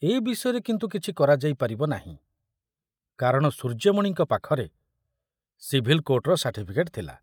ଏ ବିଷୟରେ କିନ୍ତୁ କିଛି କରାଯାଇ ପାରିବ ନାହିଁ, କାରଣ ସୂର୍ଯ୍ୟମଣିଙ୍କ ପାଖରେ ସିଭିଲକୋର୍ଟର ସାର୍ଟିଫିକେଟ ଥିଲା।